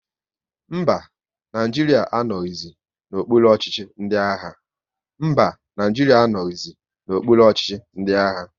Mba, Naijiria anoghizi n'okpuru ọchịchị ndị agha